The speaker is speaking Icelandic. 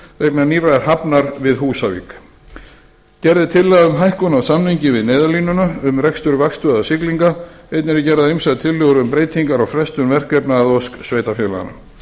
vegna nýrrar hafnar við húsavík gerð er tillaga um hækkun á samningi við neyðarlínuna um rekstur vaktstöðvar siglinga einnig eru gerðar ýmsar tillögur um breytingar og frestun verkefna að ósk sveitarfélaganna